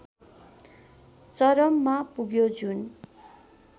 चरममा पुग्यो जुन